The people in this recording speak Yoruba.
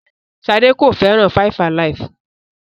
Ṣadé kò fẹ́ràn 5-alive.